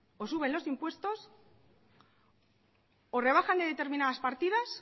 o suben los impuestos o rebajan de determinadas partidas